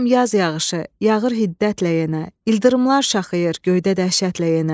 Görürəm yaz yağışı yağır hiddətlə yenə, ildırımlar şaxır göydə dəhşətlə yenə.